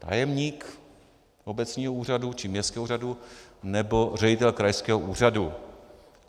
Tajemník obecního úřadu či městského úřadu nebo ředitel krajského úřadu.